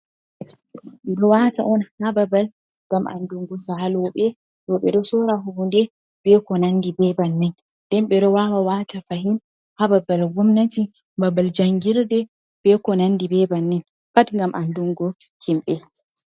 Ɓe ɗo wata on ha babal ngam andungo saloɓe ɓe ɗo sora hunde be ko nandi be bannin nden ɓe ɗo wawa wata fahin ha babal gomnati, babal jangirde be ko nandi be bannin pat ngam andungu himɓe.